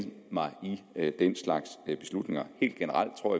mig i den slags beslutninger helt generelt tror